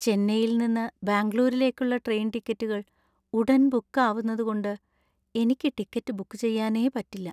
ചെന്നൈയിൽ നിന്ന് ബാംഗ്ലൂരിലേക്കുള്ള ട്രെയിൻ ടിക്കറ്റുകൾ ഉടൻ ബുക്ക് ആവുന്നതുകൊണ്ട് എനിക്ക് ടിക്കറ്റ് ബുക്ക് ചെയ്യാനേ പറ്റില്ല.